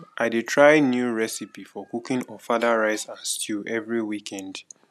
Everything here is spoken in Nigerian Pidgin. i dey try new recipe for cooking ofada rice and stew every weekend